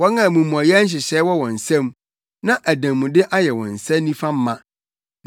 wɔn a amumɔyɛ nhyehyɛe wɔ wɔn nsam na adanmude ayɛ wɔn nsa nifa ma.